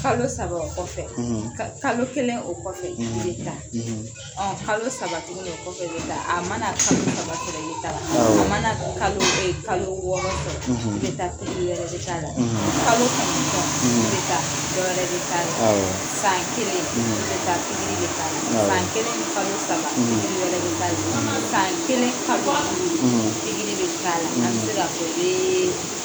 Kalo saba o kɔfɛ , kalo kelen o kɔfɛ , i bi taa . Ɔn kalo saba tuguni o kɔfɛ i bi taa . A ma na kalo wɔɔrɔ sɔrɔ i bi taa yɛrɛ bi k'a la . kalo kɔnɔntɔn i bi taa dɔ wɛrɛ bi k'a la . San kelen i bi taa bi k'a la, san kelen ni kalo saba wɛrɛ bi k'a la , san kelen kalo duuru bi k'a la. A bi se ka kɛ